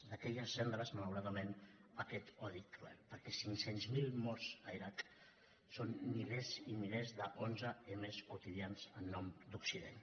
d’aquelles cendres malauradament aquest odi cruel perquè cinc cents miler morts a l’iraq són milers i milers d’onze m quotidians en nom d’occident